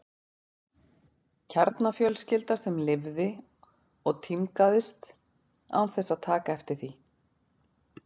Kjarnafjölskylda sem lifði og tímgaðist án þess að taka eftir því.